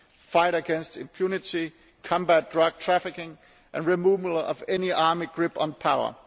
fighting against impunity, combating drug trafficking and the removal of any army grip on power.